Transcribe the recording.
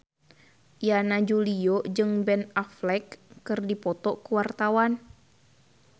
Yana Julio jeung Ben Affleck keur dipoto ku wartawan